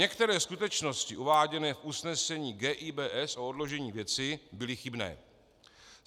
Některé skutečnosti uváděné v usnesení GIBS o odložení věci byly chybné.